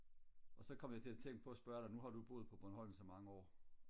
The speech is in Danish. og så kom jeg til at tænke på og prøve og spørge dig nu har du jo boet på bornholm så mange år